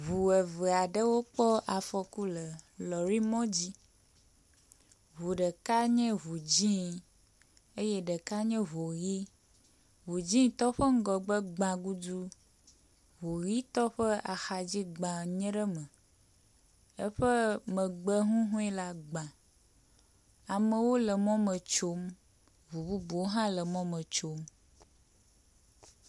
Ŋu eve aɖewo kpɔ afɔku le lɔɖi mɔ dzi. Ŋu ɖeka nye ŋu dzi eye ɖeka nye ŋu ʋi. Ŋu dzi tɔ ƒe ŋgɔgbe gba gudu, ŋu ʋi tɔ ƒe axadzi gba nye ɖe me eƒe megbe hɔhɔe la gba. Amewo le mɔme tsom. Ŋu bubuwo hã le mɔ me tsom.